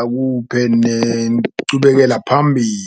akuphe nencubekela phambili.